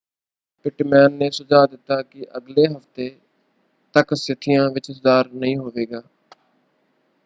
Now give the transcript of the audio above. Pitman ਨੇ ਸੁਝਾਅ ਦਿੱਤਾ ਕਿ ਅਗਲੇ ਹਫ਼ਤੇ ਤੱਕ ਸਥਿਤੀਆਂ ਵਿੱਚ ਸੁਧਾਰ ਨਹੀਂ ਹੋਵੇਗਾ।